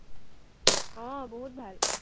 আহ বহুত ভাল।